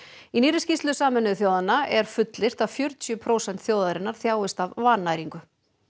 í nýrri skýrslu Sameinuðu þjóðanna er fullyrt að fjörutíu prósent þjóðarinnar þjáist af vannæringu